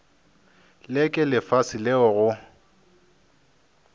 le ke lefase leo go